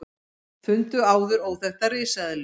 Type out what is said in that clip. Fundu áður óþekkta risaeðlu